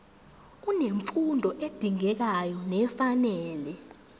unemfundo edingekayo nefanele